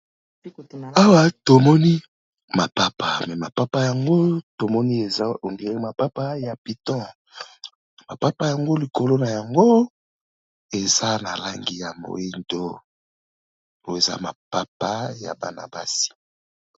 Awa tomoni mapapa, mais mapapa yango tomoni eza on dire mapapa ya piton. Mapapa yango likolo na yango eza na langi ya moyindo, eza mapapa ya bana basi.